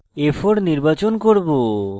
আমি a4 নির্বাচন করব